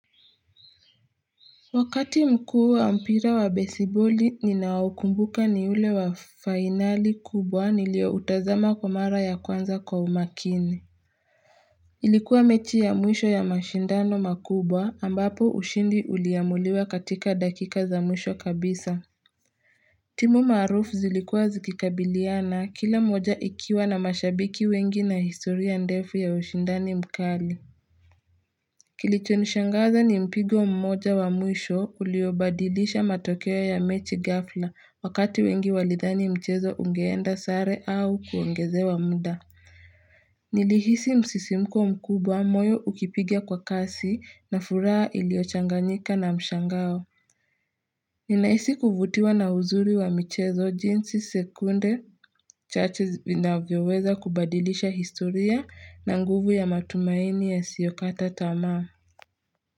Wakati mkuu wa mpira wa besiboli ninaokumbuka ni ule wa fainali kubwa nilioutazama kwa mara ya kwanza kwa umakini Ilikuwa mechi ya mwisho ya mashindano makubwa ambapo ushindi uliamuliwa katika dakika za mwisho kabisa timu maarufu zilikuwa zikikabiliana kila moja ikiwa na mashabiki wengi na historia ndefu ya ushindani mkali Kilicho nishangaza ni mpigo mmoja wa mwisho uliobadilisha matokeo ya mechi ghafla wakati wengi walidhani mchezo ungeenda sare au kuongezewa mda. Nilihisi msisimko mkubwa moyo ukipiga kwa kasi na furaha iliochanganyika na mshangao. Ninahisi kuvutiwa na uzuri wa michezo jinsi sekunde chache vinavyoweza kubadilisha historia na nguvu ya matumaini yasiyokata tama.